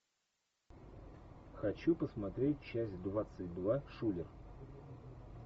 хочу посмотреть часть двадцать два шулер